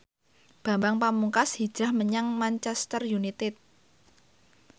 Bambang Pamungkas hijrah menyang Manchester united